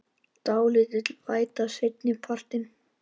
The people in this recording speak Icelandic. Dálítil væta seinni partinn